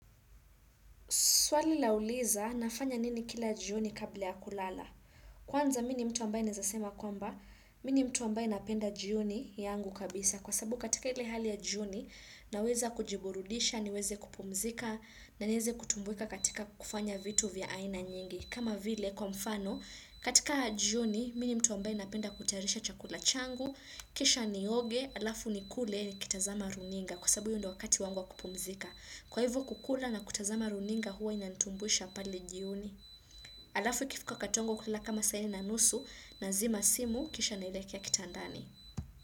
Swali lauliza nafanya nini kila jioni kabla ya kulala. Kwanza mimi ni mtu ambaye naweza sema kwamba, mimi ni mtu ambaye napenda jioni yangu kabisa. Kwa sababu katika ile hali ya jioni naweza kujiburudisha niweze kupumzika na niweze kutumbuika katika kufanya vitu vya aina nyingi. Kama vile kwa mfano, katika jioni mimi ni mtu ambaye napenda kutayarisha chakula changu, kisha nioge, alafu nikule nikitazama runinga. Kwa sababu hio ndio wakati wangu wa kupumzika. Kwa hivo kukula na kutazama runinga huwa inanitumbuisha pale jioni. Alafu ikifika wakati wangu wa kulala kama saa nne na nusu nazima simu kisha nelekea kitandani.